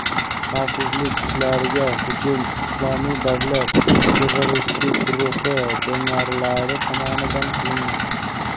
xavfsizlik kuchlariga hujum "Islomiy davlat" terroristik guruhi jangarilari tomonidan qilingan.